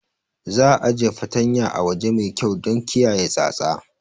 Za'a ajiye fartanyar a waje mai kyau don kiyaye tsatsa.